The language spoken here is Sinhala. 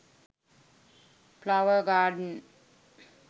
flower garden